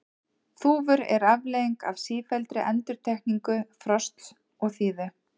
Þúfur eru afleiðing af sífelldri endurtekningu frosts og þíðu.